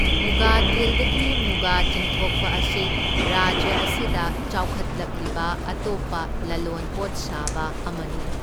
ꯃꯨꯒꯥ ꯇꯤꯜꯗꯒꯤ ꯃꯨꯒꯥ ꯆꯤꯡꯊꯣꯛꯄ ꯑꯁꯤ ꯔꯥꯖ꯭ꯌ ꯑꯁꯤꯗ ꯆꯥꯎꯈꯠꯂꯛꯂꯤꯕ ꯑꯇꯣꯞꯄ ꯂꯂꯣꯟꯄꯣꯠ ꯁꯥꯕ ꯑꯃꯅꯤ꯫